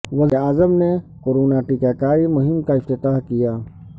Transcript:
وزیراعظم نے کورونا ٹیکہ کاری مہم کا افتتاح کیا